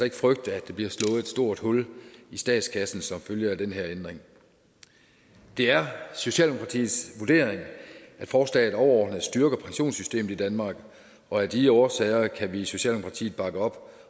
ikke frygte at der bliver slået et stort hul i statskassen som følge af den her ændring det er socialdemokratiets vurdering at forslaget overordnet set styrker pensionssystemet i danmark og af de årsager kan vi i socialdemokratiet bakke op